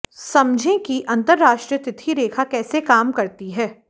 समझें कि अंतर्राष्ट्रीय तिथि रेखा कैसे काम करती है